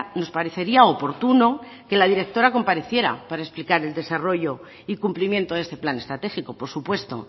nos parecería oportuno que la directora compareciera para explicar el desarrollo y cumplimiento de este plan estratégico por supuesto